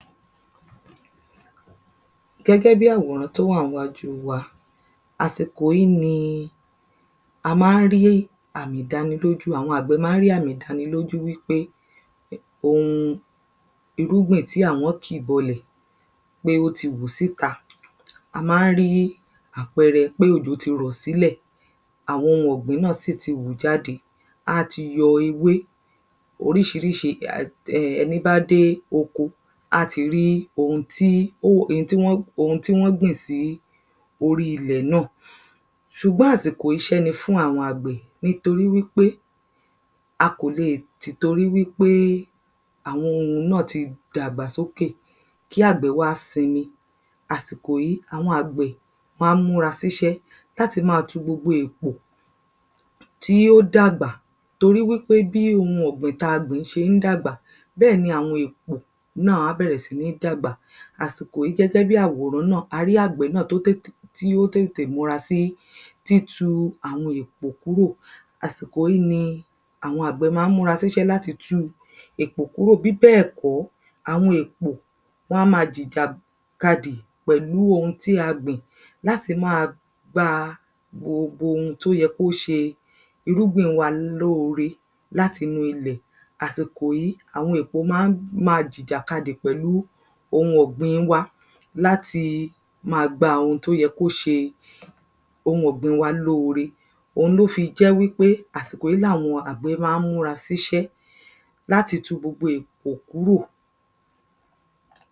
Gẹ́gẹ́ bí àwòrán tó wà ńwájú wa àsìkò yìí ni a má ń rí àmì ìdánilójú àwọn àgbẹ̀ má ń rí àmì ìdánilójú wípé ohun irúgbìn tí àwọn kì bọlẹ̀ pé ó ti hù síta. A má ń rí àpẹrẹ pójò ti rọ̀ sílẹ̀ àwọn ohun ọ̀gbìn náà sì ti hù jáde á ti yọ ewé oríṣiríṣi ẹ ẹni bá dé oko á ti rí ohun tí ohun tí wọ́n gbìn sí orí ilẹ̀ náà Ṣùgbọ́n àsìkò iṣẹ́ ni fún àwọn àgbẹ̀ nítorí wípé a kò le tìtorí wípé àwọn ohun náà ti dàgbà sókè kí àgbẹ̀ wá sinmi. Àsìkò yìí àwọn àgbẹ̀ má ń múra síṣẹ́ láti má tu gbogbo èpò tí ó dàgbà torí wípé bí ohun ọ̀gbìn tí a gbìn ṣé ń dàgbà bẹ́ẹ̀ náà ni àwọn èpò á bẹ̀rẹ̀ sí ní dàgbà. Àsìkò yìí gégẹ́ bí àwòrán náà a rí àgbẹ̀ náà tó tètè tí ó tètè múra sí títu àwọn èpò kúrò. Àsìkò yìí àwọn àgbẹ̀ má ń múra síṣẹ́ láti tu èpò kúrò bíbẹ̀ kọ́ àwọn èpò wọ́n á má jìjà kadì pẹ̀lú ohun tí a gbìn láti má gba gbogbo ohun tó yẹ kó ṣe irúgbìn wa lóore láti inú ilẹ̀. Àsìkò yìí àwọn èpò má ń má jìjà kadì ohun ọ̀gbn wa láti má gba ohun tó yẹ kó ṣe ohun ọ̀gbn wa lóore. Ohun ló fi jẹ́ wípé àsìkò yìí làwọn àgbẹ̀ má ń múra síṣẹ́ láti tu gbogbo èkpò kúró.